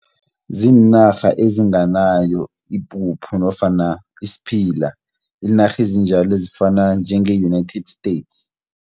Ziinarha ezinganayo ipuphu nofana isiphila, zinarha ezinjalo ezifana njenge United States.